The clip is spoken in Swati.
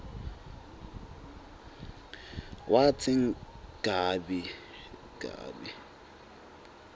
watsi gabi gabi